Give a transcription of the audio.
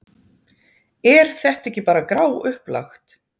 Er þetta ekki bara gráupplagt?